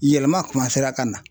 Yɛlɛma ka na.